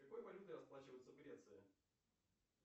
какой валютой расплачиваются в греции